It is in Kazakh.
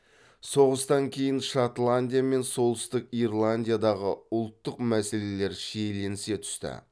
соғыстан кейін шотландия мен солтүстік ирландиядағы ұлттық мәселелер шиеленісе түсті